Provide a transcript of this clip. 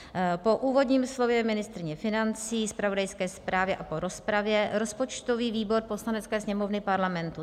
"Po úvodním slově ministryně financí, zpravodajské zprávě a po rozpravě rozpočtový výbor Poslanecké sněmovny Parlamentu